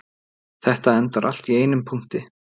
Þetta endar allt í einum punkti